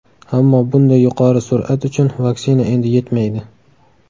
Ammo bunday yuqori sur’at uchun vaksina endi yetmaydi.